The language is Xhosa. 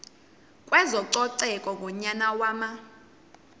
kwezococeko ngonyaka wama